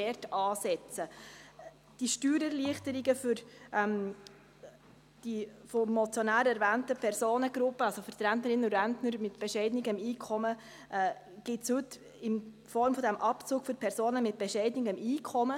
Die Steuererleichterungen für die vom Motionär erwähnten Personengruppen – also für die Rentnerinnen und Rentner mit bescheidenem Einkommen – gibt es heute in Form dieses Abzugs für Personen mit bescheidenem Einkommen.